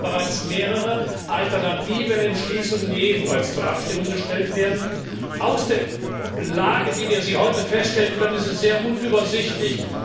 Wir haben aber bereits mehrere alternative Entschließungen, die ebenfalls zur Abstimmung gestellt werden. Aus der Lage, wie wir sie heute feststellen können, ist es sehr unübersichtlich.